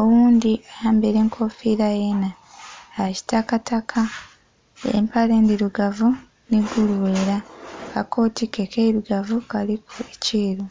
oghundhi ayambaire enkofira yenha ya kitakataka empale ndhirugavu nhi gulughera aka kotike keirugavu kaliku ekyeru.